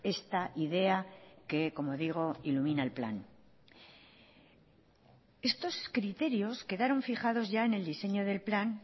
esta idea que como digo ilumina el plan estos criterios quedaron fijados ya en el diseño del plan